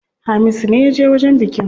Hamisu ne yaje wajen bikin.